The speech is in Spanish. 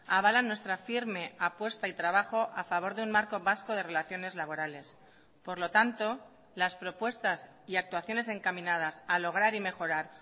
avalan nuestra firme apuesta y trabajo a favor de un marco vasco de relaciones laborales por lo tanto las propuestas y actuaciones encaminadas a lograr y mejorar